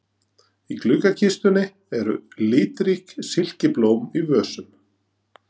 Í gluggakistunni eru litrík silkiblóm í vösum.